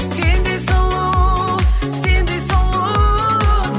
сендей сұлу сендей сұлу